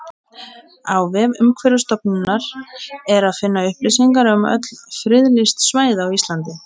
Á vef Umhverfisstofnunar er að finna upplýsingar um öll friðlýst svæði á Íslandi.